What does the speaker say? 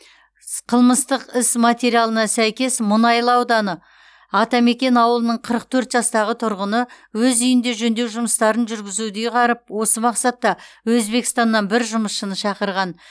қылмыстық іс материалына сәйкес мұнайлы ауданы атамекен ауылының қырық төрт жастағы тұрғыны өз үйінде жөндеу жұмыстарын жүргізуді ұйғарып осы мақсатта өзбекстаннан бір жұмысшыны шақырған